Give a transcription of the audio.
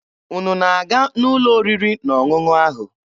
Unu na-aga n'ụlọ oriri na ọṅụṅụ ahụ?